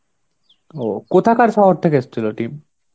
ও কোথাকার শহর থেকে এসছিল team?